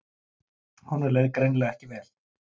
Honum leið greinilega ekki vel.